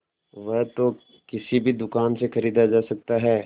वह तो किसी भी दुकान से खरीदा जा सकता है